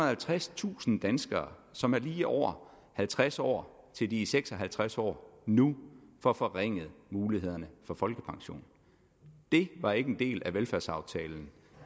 halvtredstusind danskere som er lige over halvtreds år til de er seks og halvtreds år nu får forringet mulighederne for folkepension det var ikke en del af velfærdsaftalen